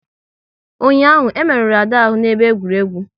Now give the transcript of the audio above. Ụnyaahụ, e merụrụ Ada ahụ n'ebe egwuregwu